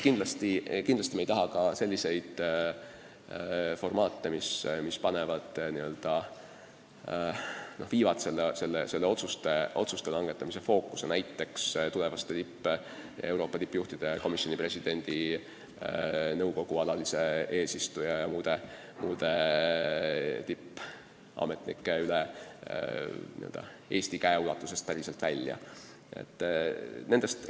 Kindlasti me ei taha selliseid formaate, mille kohaselt langetatakse otsuseid tulevaste Euroopa Liidu tippjuhtide, näiteks komisjoni presidendi, nõukogu alalise eesistuja ja muude tippametnike üle Eesti käeulatusest päriselt väljas.